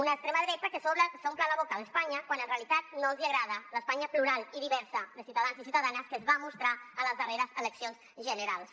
una extrema dreta que s’omple la boca d’espanya quan en realitat no els agrada l’espanya plural i diversa de ciutadans i ciutadanes que es va mostrar a les darreres eleccions generals